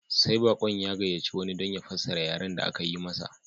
Sai baƙon ya gayyaci wani don ya fassara yaren da aka yi masa